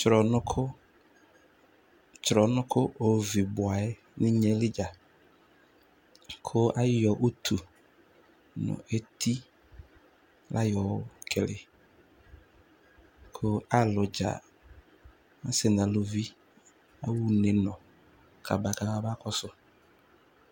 Tsrɔnʋkʋ, tsrɔnʋkʋ ovi ba yɛ nʋ inye yɛ li dza, kʋ ayɔ utu nʋ eti la yɔkele, kʋ alʋdza asɩ nʋ aluvi kʋ aɣa unenʋ, ba bamakɔsʋ